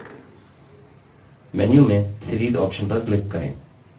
menu में series option पर click करें